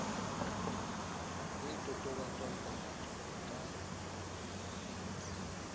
e totobatswang papatsong e ka